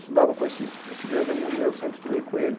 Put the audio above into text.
Estudava com esse esse grande amigo meu, sempre estudei com ele.